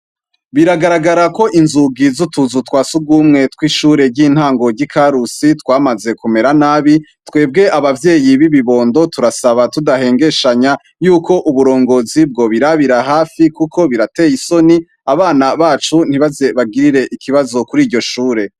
Biragarara ko inzugi zutuzu twa sugume twishure ryintango ryikarusi twamaze kumera nabi twebwe abavyeyi bibibondo turasaba tudahengeshanya yuko uburongozi bwobirabira hafi kuko birateye isoni abana bacu nibaze bagire ikibazo kuriryo shure